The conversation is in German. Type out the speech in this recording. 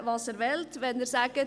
Irgendwie müssen